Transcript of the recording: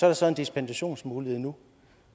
er så en dispensationsmulighed nu